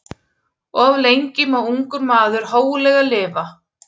Of lengi má ungur maður hóglega lifa.